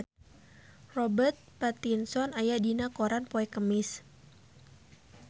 Robert Pattinson aya dina koran poe Kemis